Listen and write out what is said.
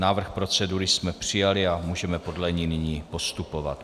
Návrh procedury jsme přijali a můžeme podle ní nyní postupovat.